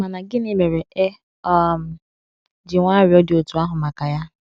Ma gịnị mere e um ji nwee arịrịọ dị otú ahụ maka ya?